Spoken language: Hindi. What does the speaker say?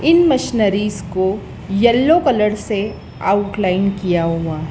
इन मशीनरीस को येलो कलर से आउटलाइन किया हुआ--